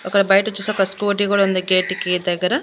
అక్కడ బయట చూస్తే ఒక స్కూటీ కూడా ఉంది గేటుకి దగ్గర.